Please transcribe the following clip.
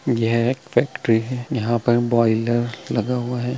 यह एक फैक्ट्री है यहाँ पर बॉयलर लगा हुआ है।